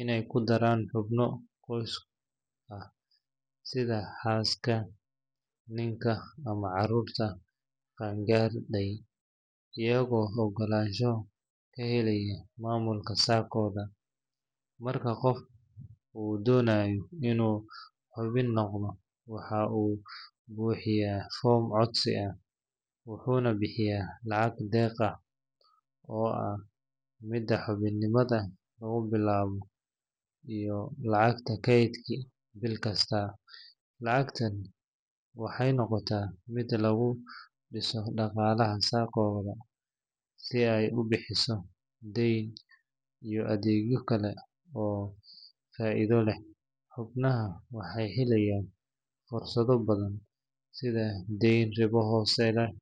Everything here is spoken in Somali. inay ku daraan xubno qoys ah, sida xaaska, ninka, ama carruurta qaan-gaadhay, iyagoo oggolaansho ka helaya maamulka Sacco-da. Marka qof uu doonayo inuu xubin noqdo, waxa uu buuxinayaa foom codsi ah, wuxuuna bixiyaa lacag deeq ah oo ah midda xubinimada lagu bilaabo, iyo lacagta kaydka bil kasta. Lacagtan waxay noqotaa mid lagu dhiso dhaqaalaha Sacco-da si ay u bixiso deyn iyo adeegyo kale oo faa’iido leh. Xubnaha waxay helayaan fursado badan sida deyn ribo hoose leh.